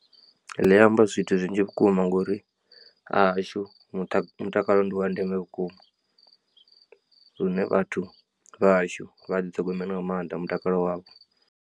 Ḽi amba zwithu zwinzhi vhukuma ngauri hahashu mutakalo ndi wa ndeme vhukuma, lune vhathu vhahashu vha ḓiṱhogomele nga maanḓa mutakalo wavho.